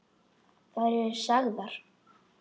Þær eru sagðar.